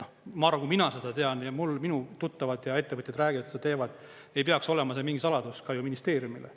Ma arvan, kui mina seda tean ja minu tuttavad ja ettevõtjad räägivad, et seda teevad, ei peaks olema see mingi saladus ka ministeeriumile.